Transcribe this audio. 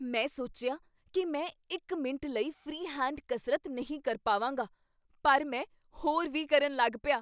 ਮੈਂ ਸੋਚਿਆ ਕੀ ਮੈਂ ਇੱਕ ਮਿੰਟ ਲਈ ਫ੍ਰੀ ਹੈਂਡ ਕਸਰਤ ਨਹੀਂ ਕਰ ਪਾਵਾਂਗਾ, ਪਰ ਮੈਂ ਹੋਰ ਵੀ ਕਰਨ ਲੱਗ ਪਿਆ।